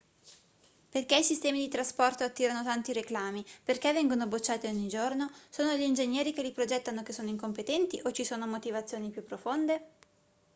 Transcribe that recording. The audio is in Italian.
perché i sistemi di trasporto attirano tanti reclami perché vengono bocciati ogni giorno sono gli ingegneri che li progettano che sono incompetenti o ci sono motivazioni più profonde